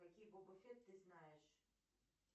какие ты знаешь